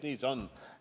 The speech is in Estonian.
Nii see on.